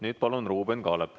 Nüüd palun Ruuben Kaalepi.